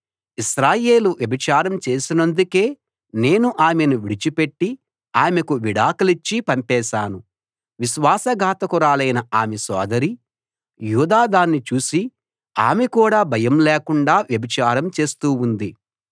ఇశ్రాయేలు వ్యభిచారం చేసినందుకే నేను ఆమెను విడిచిపెట్టి ఆమెకు విడాకులిచ్చి పంపేశాను విశ్వాసఘాతకురాలైన ఆమె సోదరి యూదా దాన్ని చూసి ఆమె కూడా భయం లేకుండా వ్యభిచారం చేస్తూ ఉంది